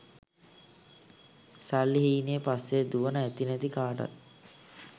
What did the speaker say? සල්ලි හීනේ පස්සෙ දුවන ඇති නැති කාටත්